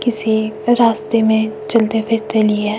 किसी रास्ते में चलते फ़िरते ली है --